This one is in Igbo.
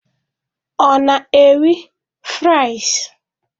Ọ na-eri fries?